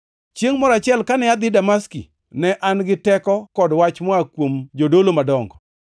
“Chiengʼ moro achiel kane adhi Damaski, ne an gi teko kod wach moa kuom jodolo madongo.